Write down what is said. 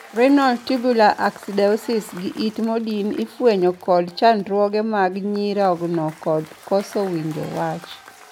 Renal tubular acidosis gi it modin ifwenyo kod chandruoge mag nyirogno kod koso winjo wach.